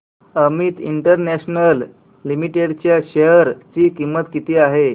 Amit international limited च्या share ची किंमत किती आहे